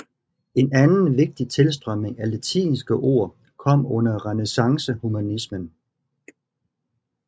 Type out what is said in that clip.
En anden vigtig tilstrømning af latinske ord kom under renæssancehumanismen